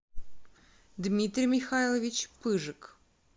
дмитрий михайлович пыжик